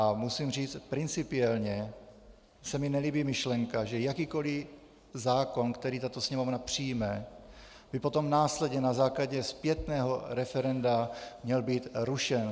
A musím říct, principiálně se mně nelíbí myšlenka, že jakýkoli zákon, který tato Sněmovna přijme, by potom následně na základě zpětného referenda měl být rušen.